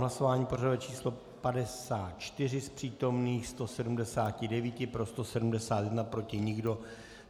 Hlasování pořadové číslo 54, z přítomných 179 pro 171, proti nikdo.